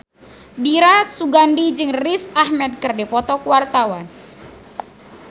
Dira Sugandi jeung Riz Ahmed keur dipoto ku wartawan